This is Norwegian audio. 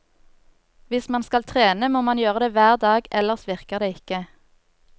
Hvis man skal trene, må man gjøre det hver dag, ellers virker det ikke.